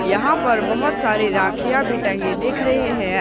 यहां पर बहुत सारे राखियां भी टंगे दिख रहे हैं।